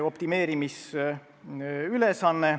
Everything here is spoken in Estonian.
Kolm minutit lisaaega.